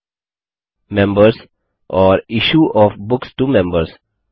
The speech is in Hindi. बुक्स मेंबर्स और issue of books to members